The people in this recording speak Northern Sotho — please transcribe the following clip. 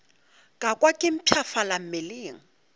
ka kwa ke mpshafala mmeleng